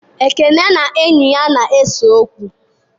Ekene na enyi ya na-ese okwu.